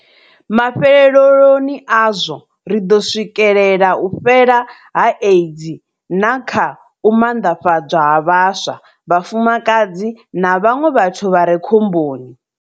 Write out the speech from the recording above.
Mafheleloni azwo, ri ḓo swikelela u fhela ha AIDS na kha u manḓafhadzwa ha vhaswa, vhafumakadzi na vhaṅwe vhathu vha re khomboni.